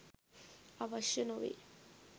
අවශ්‍ය නොවේ.